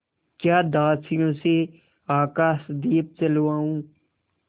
या दासियों से आकाशदीप जलवाऊँ